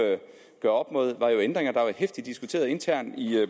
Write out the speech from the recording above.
ændringer der er blevet heftigt diskuteret internt i